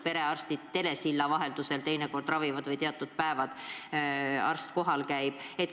Perearstid teinekord ravivad telesilla vahendusel või vaid teatud päevadel käib arst kohal.